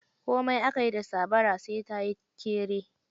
Komai aka yi da sabara, sai ta yi kere.